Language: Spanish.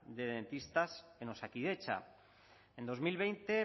de dentistas en osakidetza en dos mil veinte